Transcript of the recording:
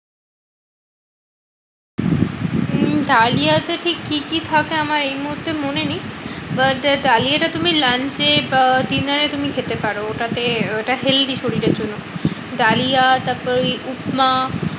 উম ডালিয়া তে ঠিক কি কি থাকে আমার এই মুহূর্তে মনে নেই? but ডালিয়া টা তুমি lunch এ আহ dinner এ তুমি খেতে পারো। ওটাতে ওটা healthy শরীরের জন্য। ডালিয়া তারপর ওই উপমা